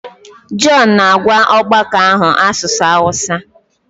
John na-agwa ọgbakọ ahụ asụsụ Hausa.